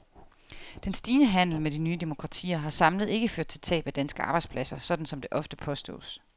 Den stigende handel med de nye demokratier har samlet ikke ført til tab af danske arbejdspladser, sådan som det ofte påstås.